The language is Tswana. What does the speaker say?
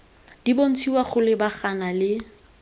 di bontshiwa go lebagana le